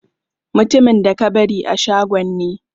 Mutumin da ka bari a shagon ne.